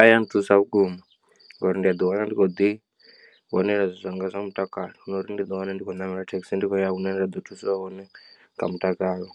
A ya nthusa vhukuma ngauri ndi a ḓi wana ndi khou ḓi vhonela zwanga zwa mutakalo na uri ndi ḓi wana ndi khou ṋamela thekhisi ndi khou ya hune nda ḓo thuswa hone nga mutakalo